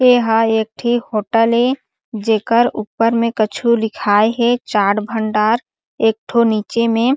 ये यहाँ इकठी होटल हे जेकर ऊपर में कुछु लिखाई हे चाट भंडार एक थो नीचे में--